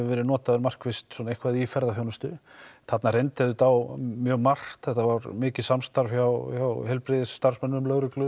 verið notaður markvisst svona eitthvað í ferðaþjónustu þarna reyndi auðvitað á mjög margt þetta var mikið samstarf hjá heilbrigðisstarfsmönnum lögreglu